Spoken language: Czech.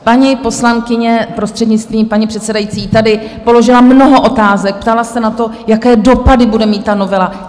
Paní poslankyně, prostřednictvím paní předsedající, tady položila mnoho otázek, ptala se na to, jaké dopady bude mít ta novela.